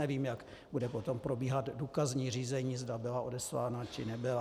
Nevím, jak bude potom probíhat důkazní řízení, zda byla odeslána, či nebyla.